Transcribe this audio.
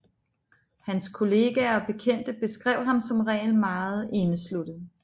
Hans kolleger og bekendte beskrev ham som meget indesluttet